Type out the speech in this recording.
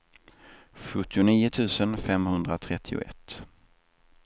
sjuttionio tusen femhundratrettioett